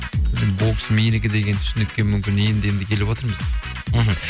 бокс менікі деген түсінікке мүмкін енді енді келіватырмыз мхм